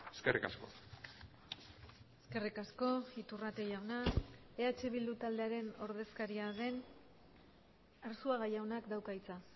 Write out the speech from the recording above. eskerrik asko eskerrik asko iturrate jauna eh bildu taldearen ordezkaria den arzuaga jaunak dauka hitza